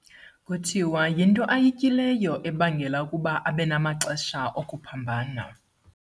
Kuthiwa yinto ayityileyo ebangela ukuba abe namaxesha okuphambana.